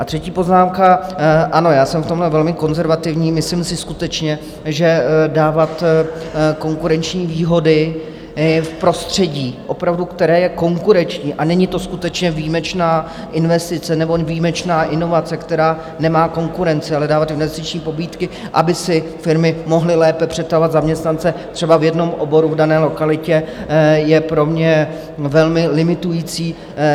A třetí poznámka: ano, já jsem v tomhle velmi konzervativní, myslím si skutečně, že dávat konkurenční výhody v prostředí opravdu, které je konkurenční, a není to skutečně výjimečná investice nebo výjimečná inovace, která nemá konkurenci, ale dávat investiční pobídky, aby si firmy mohly lépe přetahovat zaměstnance třeba v jednom oboru v dané lokalitě, je pro mě velmi limitující.